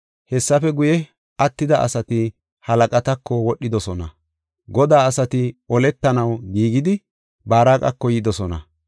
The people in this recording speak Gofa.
Hessafe guye, attida asati, halaqatako wodhidosona. Godaa asati oletanaw giigidi Baaraqako yidosona.